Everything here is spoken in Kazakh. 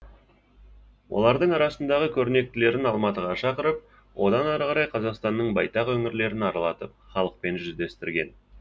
олардың арасындағы көрнектілерін алматыға шақыртып одан ары қарай қазақстанның байтақ өңірлерін аралатып халықпен жүздестірген